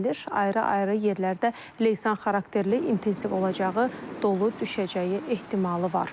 Ayrı-ayrı yerlərdə leysan xarakterli intensiv olacağı, dolu düşəcəyi ehtimalı var.